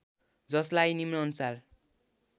जसलाई निम्नानुसार